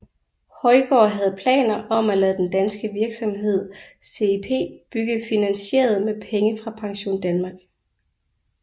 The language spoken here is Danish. Højgaard havde planer om at lade den danske virksomhed CIP bygge finansieret med penge fra PensionDanmark